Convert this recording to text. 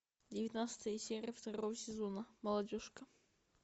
девятнадцатая серия второго сезона молодежка